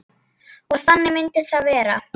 Og þannig myndi það vera.